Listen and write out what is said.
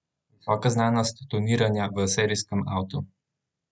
Visoka znanost tuniranja v serijskem avtu!